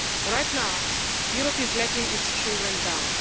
Right now, Europe is letting its children down.